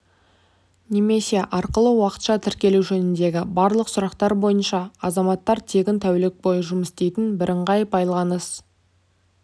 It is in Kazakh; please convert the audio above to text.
немесе арқылы уақытша тіркелу жөніндегі барлық сұрақтар бойынша азаматтар тегін тәулік бойы жұмыс істейтін бірыңғай байланыс